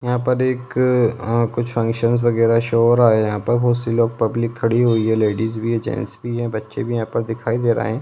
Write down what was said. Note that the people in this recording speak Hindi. यहाँ पर एक कुछ फंक्शन वैगरह शो हो रहा है यहाँ पर बहुत सी लोग पब्लिक खड़ी हुई है लेडिस भी हैं जेंट्स भी हैं बच्चे भी हैं यहाँ पर दिखाई दे रहे हैं।